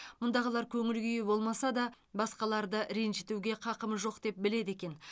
мұндағылар көңіл күйі болмаса да басқаларды ренжітуге қақымыз жоқ деп біледі екен